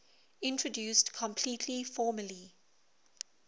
introduced completely formally